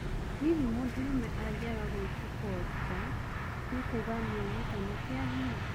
Hihi mũndũrũme angĩaga gũitũko nja nĩ kũuga nianyitana kĩa hinya.